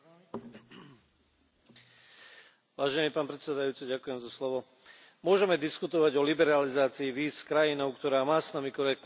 Môžeme diskutovať o liberalizácii víz s krajinou, ktorá má s nami korektný vzťah, myslím si, kde právo a zákon sú rešpektované, kde nie sú bezpečnostné riziká.